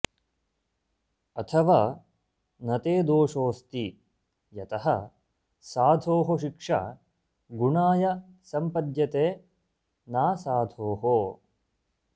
अथवा न ते दोषोऽस्ति यतः साधोः शिक्षा गुणाय सम्पद्यते नासाधोः